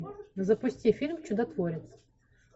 запусти фильм чудотворец